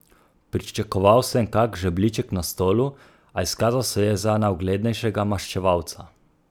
Pričakoval sem kak žebljiček na stolu, a izkazal se je za najuglednejšega maščevalca!